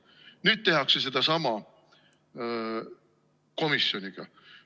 Nüüd tehakse sedasama komisjoniga.